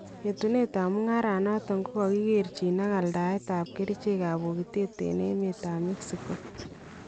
Yetunetab mung'areet noton kokakikeerchin ak aldaetab kericheekab bokitatet en emetab Mexico